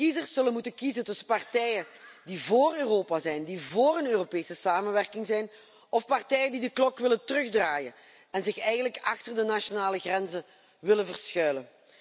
Kiezers zullen moeten kiezen tussen partijen die vóór Europa zijn, die vóór een Europese samenwerking zijn of partijen die de klok willen terugdraaien en zich eigenlijk achter de nationale grenzen willen verschuilen.